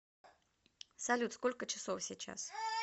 салют сколько часов сейчас